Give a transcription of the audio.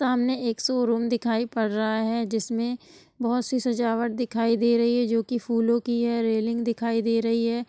सामने एक show room दिखाई पड़ रहा है जिसमें बहुत सी सजावट दिखाई दे रही है जो की फूलों की है रेलिंग दिखाई दे रही है।